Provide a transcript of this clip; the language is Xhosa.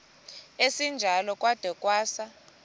esinjalo kwada kwasa